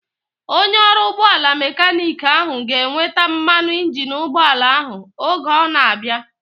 Onye ọrụ ụgbọala mekaniiki ahu ga-eweta mmanụ injini ụgbọala ahu oge ọ na-abịa